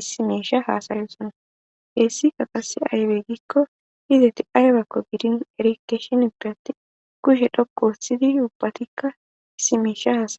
issi mesha hasayosana heessi ka qase aywe gikko hizeti aybekko gidin erikeeshin birati kushe dhoku wossidi ubbatikka hissi meesha haaay